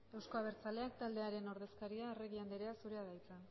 eusko abertzalea taldearen ordezkaria arregi andrea zurea da hitza